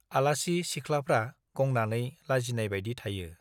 आलासि सिख्लाफ्रा गंनानै लजिनाय बाइदि थायो ।